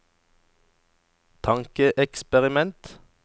tankeeksperiment